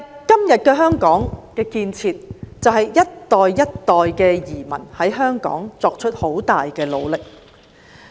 今天香港的建設，歸功於一代又一代的移民在香港所作出很大的努力。